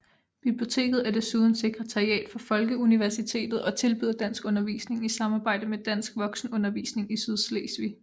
Biblioteket er desuden sekretariat for Folkeuniversitetet og tilbyder danskundervisning i samarbejde med Dansk Voksenundervisning i Sydslesvig